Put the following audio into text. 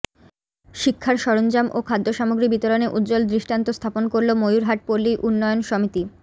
শিক্ষার সরঞ্জাম ও খাদ্য সামগ্রী বিতরণে উজ্জ্বল দৃষ্টান্ত স্থাপন করল ময়ুর হাট পল্লী উন্নয়ন সমিতি